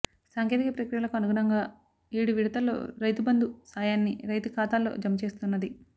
సాంకేతిక ప్రక్రియలకు అనుగుణంగా ఏడువిడుతల్లో రైతుబంధు సా యాన్ని రైతుల ఖాతాల్లో జమచేస్తున్నది